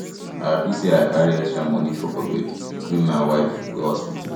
i happy sey i carry extra moni for pocket wen my wife go hospital